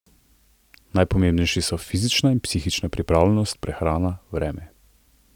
Najpomembnejši so fizična in psihična pripravljenost, prehrana, vreme ...